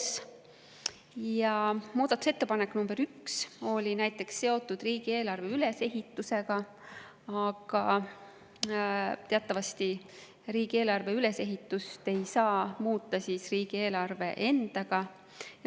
Näiteks oli muudatusettepanek nr 1 seotud riigieelarve ülesehitusega, aga riigieelarve ülesehitust ei saa teatavasti muuta riigieelarve endaga.